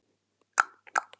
Það sleppur alveg.